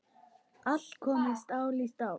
Allt komið stál í stál.